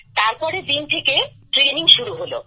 তারপরের দিন থেকে ট্রেনিং শুরু হল